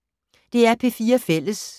DR P4 Fælles